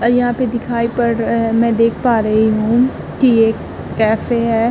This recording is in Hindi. और यहां पे दिखाई पड़ रहा है। मैं देख पा रही हूं कि एक कैफे है।